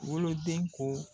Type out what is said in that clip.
Wolo den ko